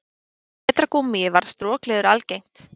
Með betra gúmmíi varð strokleður algengt.